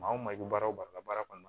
Maa o maa bɛ baara o baara kɔnɔna na